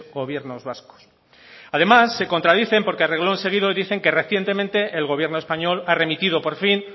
gobiernos vascos además se contradicen porque a reglón seguido dicen que recientemente el gobierno español ha remitido por fin